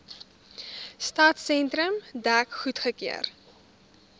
stadsentrum dek goedgekeur